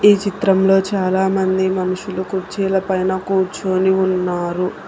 ఈ చిత్రంలో చాలామంది మనుషులు కుర్చీల పైన కూర్చొని ఉన్నారు.